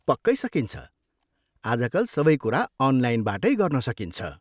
पक्कै सकिन्छ! आजकल सबै कुरा अनलाइनबाटै गर्न सकिन्छ।